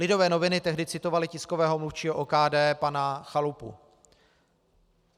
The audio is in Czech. Lidové noviny tehdy citovaly tiskového mluvčího OKD pana Chalupu.